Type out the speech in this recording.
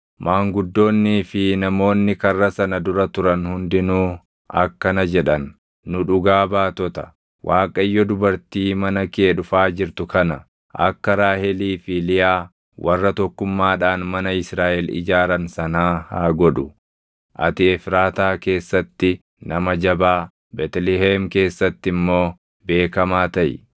Maanguddoonnii fi namoonni karra sana dura turan hundinuu akkana jedhan; “Nu dhugaa baatota. Waaqayyo dubartii mana kee dhufaa jirtu kana akka Raahelii fi Liyaa warra tokkummaadhaan mana Israaʼel ijaaran sanaa haa godhu. Ati Efraataa keessatti nama jabaa, Beetlihem keessatti immoo beekamaa taʼi.